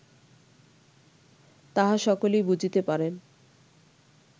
তাহা সকলেই বুঝিতে পারেন